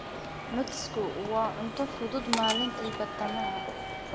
Nutsku waa cunto fudud maalintii badhtamaha.